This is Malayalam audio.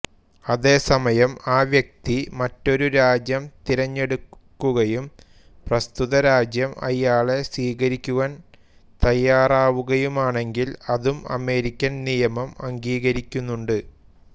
അതേസമയം ആ വ്യക്തി മറ്റൊരു രാജ്യം തിരഞ്ഞെടുക്കുകയും പ്രസ്തുത രാജ്യം അയാളെ സ്വീകരിക്കുവാൻ തയ്യാറാവുകയുമാണെങ്കിൽ അതും അമേരിക്കൻ നിയമം അംഗീകരിക്കുന്നുണ്ട്